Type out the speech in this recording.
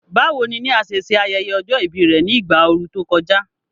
Báwo ni Nia ṣe ṣe ayẹyẹ ọjọ́ ìbí rẹ̀ ní ìgbà ooru tó kọjá?